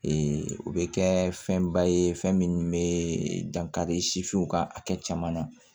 o bɛ kɛ fɛnba ye fɛn min bɛ dankari ka hakɛ caman na